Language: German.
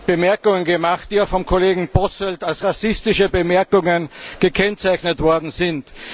Bemerkungen gemacht, die auch vom Kollegen Posselt als rassistische Bemerkungen gekennzeichnet worden sind.